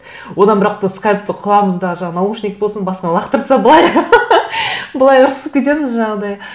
одан бірақ та скайпты құлағымызда жаңа наушник болсын басынан лақтыра салып былай былай ұрысып кетеміз жаңағыдай